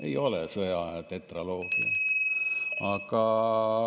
Ei ole see sõjaaja tetraloogia.